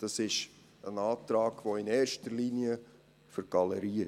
Es ist in erster Linie ein Antrag für die Galerie.